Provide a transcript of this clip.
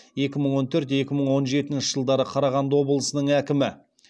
екі мың он төрт екі мың он жетінші жылдары қарағанды облысының әкімі